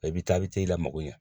I bɛ taa i bɛ taa i la mago ɲɛ.